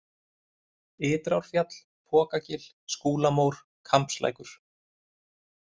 Ytrárfjall, Pokagil, Skúlamór, Kambslækur